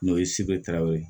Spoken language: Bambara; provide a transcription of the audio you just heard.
N'o ye ye